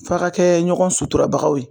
F'a ka kɛ ɲɔgɔn suturaw ye